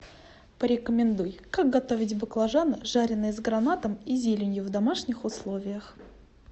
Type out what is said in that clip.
порекомендуй как готовить баклажаны жаренные с гранатом и зеленью в домашних условиях